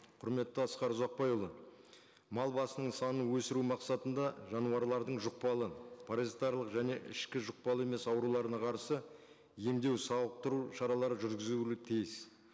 құрметті асқар ұзақбайұлы мал басының санын өсіру мақсатында жануарлардың жұқпалы паразитарлық және ішкі жұқпалы емес ауруларына қарсы емдеу сауықтыру шаралары жүргізілуі тиіс